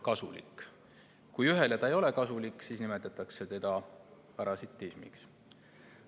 Kui see ühele ei ole kasulik, siis nimetatakse seda parasitismiks.